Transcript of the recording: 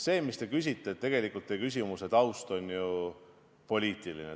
Tegelikult on teie küsimuse taust ju poliitiline.